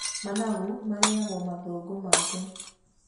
Managu marĩyagwo mathangũ make.